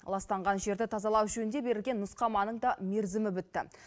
ластанған жерді тазалау жөнінде берілген нұсқаманың да мерзімі бітті